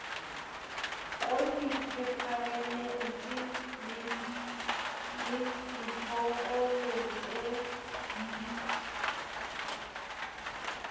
kofi peparemente le tjhokolete di